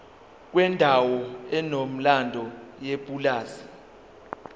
kwendawo enomlando yepulazi